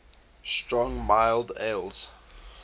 strong mild ales